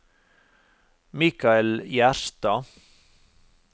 Michael Gjerstad